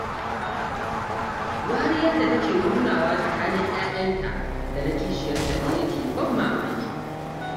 Wariyar da take nunawa tsakanin 'ya'yanta da na kishiyarta ne yake ban mamaki